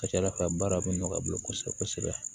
Ka ca ala fɛ baara bɛ nɔgɔya a bolo kosɛbɛ kosɛbɛ